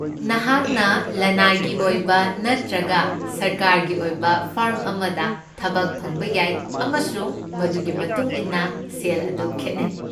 ꯅꯍꯥꯛꯅ ꯂꯅꯥꯏꯒꯤ ꯑꯣꯏꯕ ꯅꯠꯇ꯭ꯔꯒ ꯁꯔꯀꯥꯔꯒꯤ ꯑꯣꯏꯕ ꯐꯔꯝ ꯑꯃꯗ ꯊꯕꯛ ꯐꯪꯕ ꯌꯥꯏ, ꯑꯃꯁꯨꯡ ꯃꯗꯨꯒꯤ ꯃꯇꯨꯡ ꯏꯟꯅ ꯁꯦꯜ ꯑꯗꯨ ꯈꯦꯠꯅꯩ꯫